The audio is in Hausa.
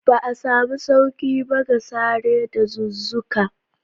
Ba a samu sauƙi ba ga sare dazuzzuka.